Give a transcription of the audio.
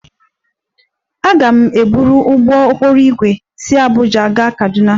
Aga m eburu ụgbọ okporo ígwè si Abuja gaa Kaduna